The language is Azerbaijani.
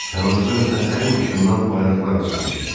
Yanımızdan ötən hər maşından bayraqlar açılmışdı.